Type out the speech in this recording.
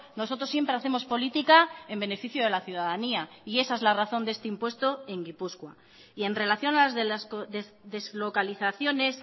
nosotros siempre hacemos política en beneficio de la ciudadanía y esa es la razón de este impuesto en gipuzkoa y en relación a las deslocalizaciones